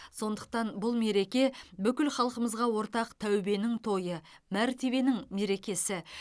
сондықтан бұл мереке бүкіл халқымызға ортақ тәубенің тойы мәртебенің мерекесі